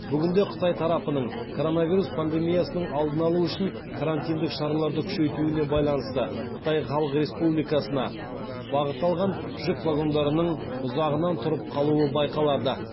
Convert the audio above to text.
бүгінде қытай тарапының коронавирус пандемиясының алдын алу үшін карантиндік шараларды күшейтуіне байланысты қытай халық республикасына бағыт алған жүк вагондарының ұзағынан тұрып қалуы байқалады